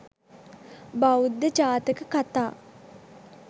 බෞද්ධ ජාතක කථා